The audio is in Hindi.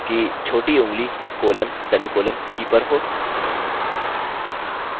सुनिश्चित कर लें कि छोटी ऊँगली colon/सेमीकॉलन की पर हो